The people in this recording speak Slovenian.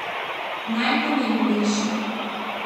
Najpomembnejši.